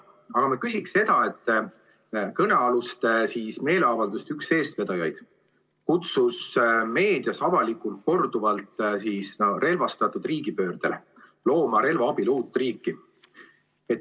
Aga ma küsin seda, et üks kõnealuste meeleavalduste üks eestvedajaid kutsus meedias avalikult korduvalt relvastatud riigipöördele, looma relva abil uut riiki.